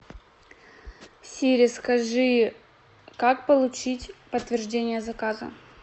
сири скажи как получить подтверждение заказа